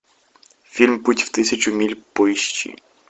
фильм путь в тысячу миль поищи